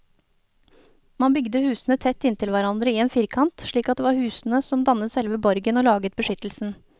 Man bygde husene tett inntil hverandre i en firkant, slik at det var husene som dannet selve borgen og laget beskyttelsen.